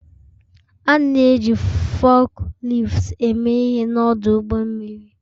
A na-eji fukliftu eme ihe n'ọdụ ụgbọ mmiri